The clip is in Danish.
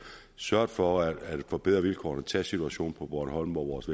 sørget for at forbedre vilkårene tag situationen på bornholm hvor vores